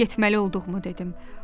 Getməli olduğumu dedim.